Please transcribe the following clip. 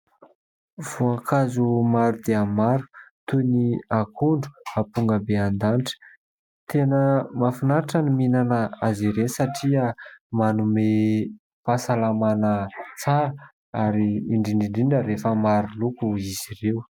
Voankazo maro dia maro toy ny akondro, ampongabendanitra tena mahafinaritra ny mihinana azy ireo satria manome fahasalamana tsara ary indrindra indrindra rehefa maro loko izy ireo.